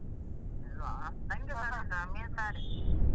ಇಲ್ವಾ ಎಂತ ಗೊತ್ತುಂಟ ಮೀನ್ ಸಾರ್.